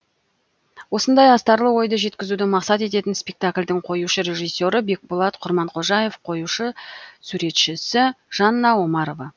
осындай астарлы ойды жеткізуді мақсат ететін спектакльдің қоюшы режиссері бекболат құрманқожаев қоюшы суретшісі жанна омарова